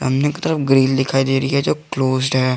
की तरफ ग्रिल दिखाई दे रही है जो क्लोस्ड है।